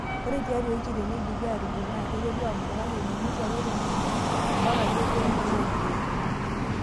Ore tiatua ewiki teneidipi aatudung naa keiteru aabulu kake mimutie ake etundung' mpaka amu ketoyu naa nkeek.